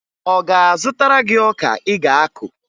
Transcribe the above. Ọ ga-azụtara gị ọka ị ga-akụ?